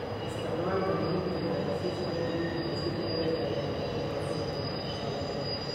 Isticmaalka "menetrier disease AND treatment" sida eraygaaga raadinta waa inuu helo maqaallo.